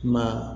Ma